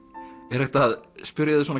er hægt að spyrja þig svona